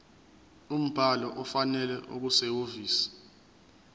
umbhalo ofanele okusehhovisi